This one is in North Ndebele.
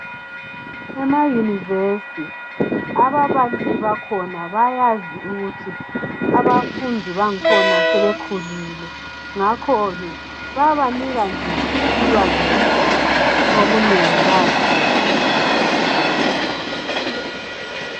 ema university ababalisi bakhona bayazi ukuthi abafundi bangikhona sebekhulile ngakho ke bayabanika nje ulwazi mbijana okunengi bayazidingisisela bodwa